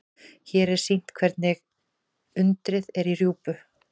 Hér er sýnt hvernig undið er í rjúpu.